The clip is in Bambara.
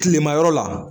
Kilema yɔrɔ la